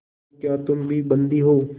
तो क्या तुम भी बंदी हो